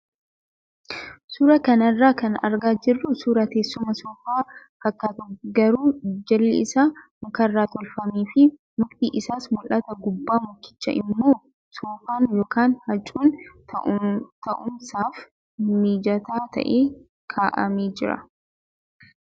Suuraa kana irraa kan argaa jirru suuraa teessuma soofaa fakkaatu garuu jalli isaa mukarraa tolfamee fi mukti isaas mul'atu gubbaa mukichaa immoo soofaan yookaan huccuun taa'umsaaf mijataa ta'e kaa'amee jira.